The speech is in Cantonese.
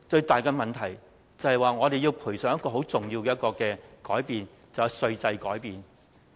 但是，最後，我們要賠上一個很重要的改變，就是稅制改變。